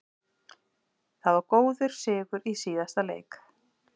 Það var góður sigur í síðasta leik.